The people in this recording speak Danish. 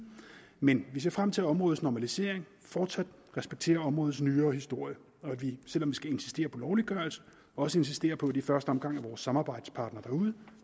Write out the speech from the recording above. men vi ser frem til at områdets normalisering fortsat respekterer områdets nyere historie og at vi selv om vi skal insistere på lovliggørelse også insisterer på at det i første omgang er vores samarbejdspartnere derude